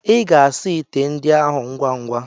Ị ga-asa ite ndị ahụ ngwa ngwa.